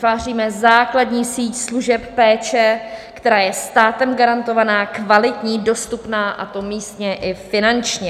Vytváříme základní síť služeb péče, která je státem garantovaná, kvalitní, dostupná, a to místně i finančně.